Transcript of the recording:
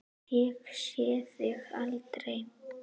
Ég sé þig aldrei.